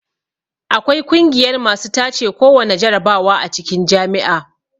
Akwai kungiyar masu tace kowana jarabawa a cikin jami'a